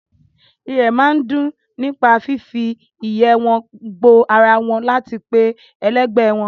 Irẹ̀ máa ń dùn nípa fífi ìyẹ́ ẹ wọn gbo ara wọn láti pe ẹlẹgbẹ́ wọn